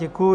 Děkuju.